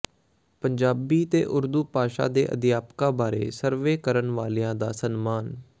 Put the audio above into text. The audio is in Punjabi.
ਪੰਜਾਬੀ ਤੇ ਉਰਦੂ ਭਾਸ਼ਾ ਦੇ ਅਧਿਆਪਕਾਂ ਬਾਰੇ ਸਰਵੇ ਕਰਨ ਵਾਲਿਆਂ ਦਾ ਸਨਮਾਨ